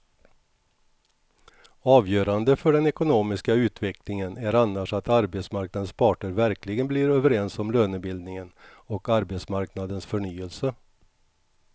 Avgörande för den ekonomiska utvecklingen är annars att arbetsmarknadens parter verkligen blir överens om lönebildningen och arbetsmarknadens förnyelse.